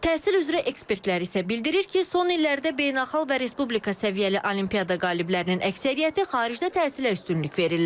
Təhsil üzrə ekspertlər isə bildirir ki, son illərdə beynəlxalq və Respublika səviyyəli olimpiada qaliblərinin əksəriyyəti xaricdə təhsilə üstünlük verirlər.